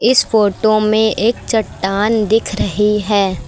इस फोटो में एक चट्टान दिख रही है।